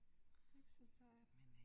Det er ikke så sejt